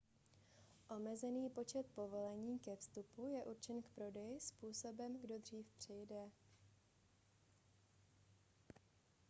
omezený počet povolení ke vstupu je určen k prodeji způsobem kdo dřív přijde